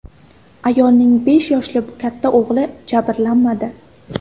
Ayolning besh yoshli katta o‘g‘li jabrlanmadi.